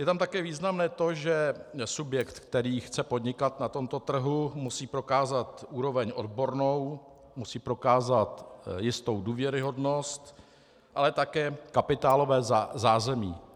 Je tam také významné to, že subjekt, který chce podnikat na tomto trhu, musí prokázat úroveň odbornou, musí prokázat jistou důvěryhodnost, ale také kapitálové zázemí.